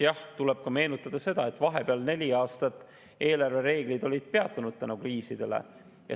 Jah, tuleb meenutada ka seda, et vahepeal neli aastat olid eelarvereeglid peatunud kriiside tõttu.